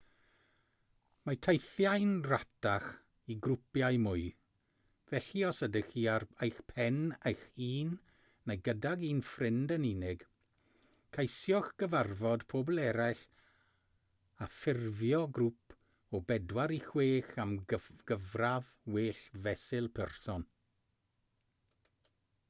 mae teithiau'n rhatach i grwpiau mwy felly os ydych chi ar eich pen eich hun neu gydag un ffrind yn unig ceisiwch gyfarfod pobl eraill a ffurfio grŵp o bedwar i chwech am gyfradd well fesul person